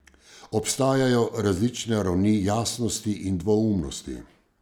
Obstajajo različne ravni jasnosti in dvoumnosti.